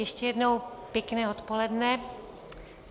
Ještě jednou pěkné odpoledne.